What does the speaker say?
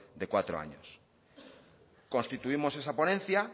de cuatro años constituimos esa ponencia